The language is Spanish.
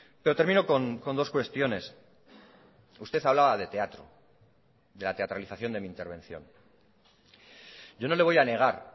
pero termino con dos cuestiones usted hablaba de teatro de la teatralización de mi intervención yo no le voy a negar